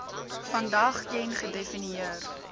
vandag ken gedefinieer